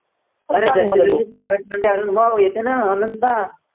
private मध्ये अनुभव घेते ना अनंता